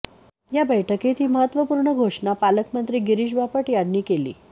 या बैठकीत ही महत्वपूर्णघोषणा पालकमंत्री गिरीश बापट यांनी केली